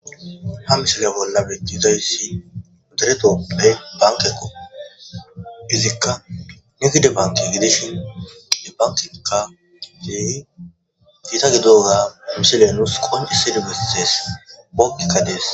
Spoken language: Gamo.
Ha misale bolla betizayyssi uderetopey bankekko izikka neki de banki gidishin de bankeka gidey giita gidoga mishelenus qonise de gees pookkekka dees